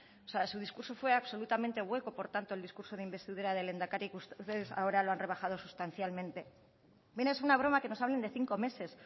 o sea su discurso fue absolutamente hueco por tanto el discurso de investidura del lehendakari que ustedes ahora han rebajado sustancialmente bien es una broma que nos hablen de cinco meses